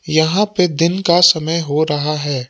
यहां पे दिन का समय हो रहा है।